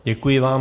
Děkuji vám.